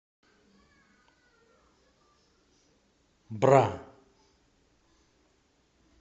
бра